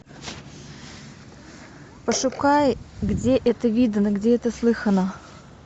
пошукай где это видано где это слыхано